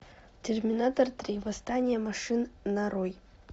терминатор три восстание машин нарой